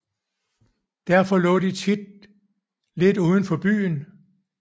Derfor lå de tit lidt udenfor byen